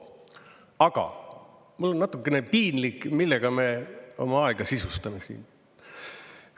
Aga mul on natukene piinlik, millega me oma aega sisustame siin.